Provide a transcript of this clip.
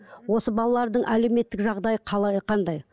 осы балалардың әлеуметтік жағдайы қалай қандай